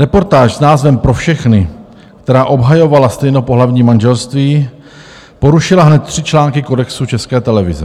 Reportáž s názvem Pro všechny, která obhajovala stejnopohlavní manželství, porušila hned tři články kodexu České televize.